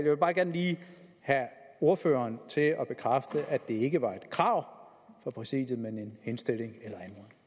vil bare gerne lige have ordføreren til at bekræfte at det ikke var et krav fra præsidiet men en henstilling eller